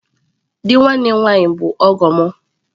Di nwanne nwaanyi bu ọgọ m.